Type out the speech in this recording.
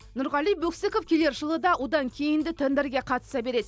нұрғали бөксіков келер жылы да одан кейін де тендерге қатыса береді